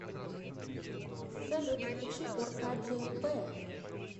салют включи оркадия пэ